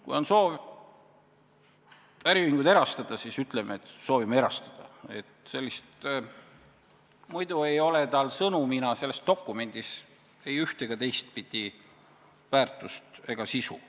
Kui on soov äriühingud erastada, siis ütleme, et soovime erastada, muidu ei ole sel sõnumina selles dokumendis ei üht- ega teistpidi väärtust ega sisu.